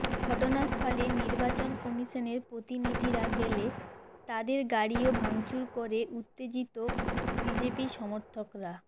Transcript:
ঘটনাস্থলে নির্বাচন কমিশনের প্রতিনিধিরা গেলে তাঁদের গাড়িও ভাঙচুর করে উত্তেজিত বিজেপি সমর্থকরা